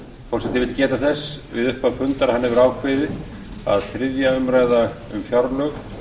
forseti vill geta þess í upphafi fundar að hann hefur ákveðið að þriðju umræðu um fjárlög